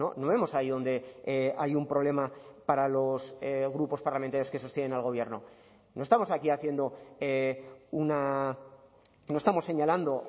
no vemos ahí dónde hay un problema para los grupos parlamentarios que sostienen al gobierno no estamos aquí haciendo una no estamos señalando